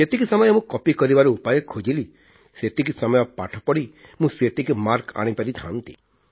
ଯେତିକି ସମୟ ମୁଁ କପି କରିବାର ସମୟ ଖୋଜିଲି ସେତିକି ସମୟ ପାଠ ପଢ଼ି ମୁଁ ସେତିକି ମାର୍କ ଆଣିପାରିଥାନ୍ତି